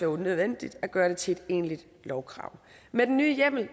unødvendigt at gøre det til et egentligt lovkrav med den nye hjemmel